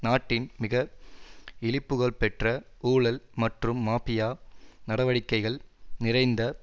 நாட்டின் மிக இழிபுகழ்பெற்ற ஊழல் மற்றும் மாபியா நடவடிக்கைகள் நிறைந்த